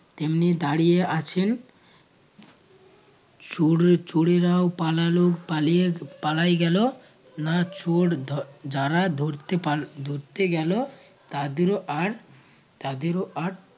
তেমনি দাঁড়িয়ে আছেন চোর চোরেরাও পালালো পালিয়ে পালাই গেলো না চোর ধর যারা ধরতে পা ধরতে গেলো তাদেরও আর তাদেরও আর